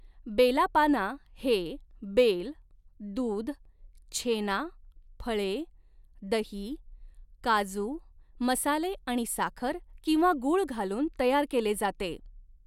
बेला पाना हे बेल, दूध, छेना, फळे, दही, काजू, मसाले आणि साखर किंवा गूळ घालून तयार केले जाते.